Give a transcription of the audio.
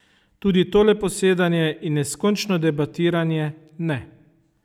Tudi tole posedanje in neskončno debatiranje ne.